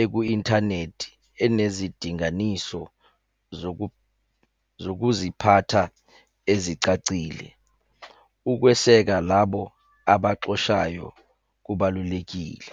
eku-inthanethi enezidinganiso zokuziphatha ezicacile. Ukweseka labo abaxoshayo kubalulekile.